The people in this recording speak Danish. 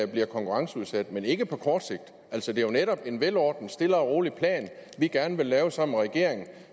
bliver konkurrenceudsat men ikke på kort sigt altså det er jo netop en velordnet og stille og rolig plan vi gerne vil lave sammen med regeringen